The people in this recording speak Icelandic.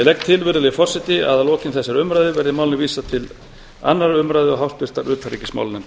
til virðulegi forseti að að lokinni þessari umræðu væri málinu vísað til annarrar umræðu og háttvirtrar utanríkismálanefndar